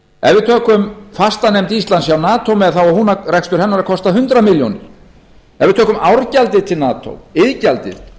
ef við tökum fastanefnd íslands hjá nato með þá á rekstur hennar að kosta hundrað milljónir ef við tökum árgjaldið til nato iðgjaldið